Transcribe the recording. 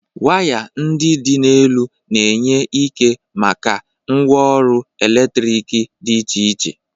Waya ndị dị n'elu na-enye ike maka ngwaọrụ eletrik dị iche iche.